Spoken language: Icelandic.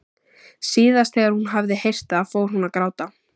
Síðast þegar hún hafði heyrt það fór hún að gráta.